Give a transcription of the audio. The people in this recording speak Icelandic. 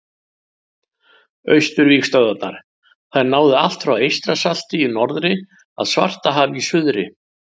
Austurvígstöðvarnar: Þær náðu allt frá Eystrasalti í norðri að Svartahafi í suðri.